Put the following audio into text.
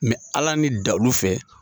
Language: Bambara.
ala ni dalu fɛ.